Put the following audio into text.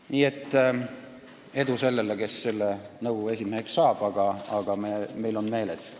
Nii et edu sellele, kes selle nõukogu esimeheks saab, aga meil on meeles.